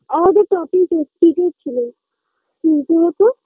আমাদের topic ছিল হোতো